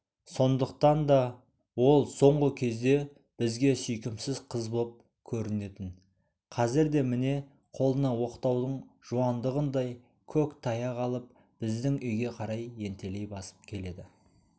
сондықтан да ол соңғы кезде бізге сүйкімсіз қыз боп көрінетін қазір де міне қолына оқтаудың жуандығындай көк таяқ алып біздің үйге қарай ентелей басып келеді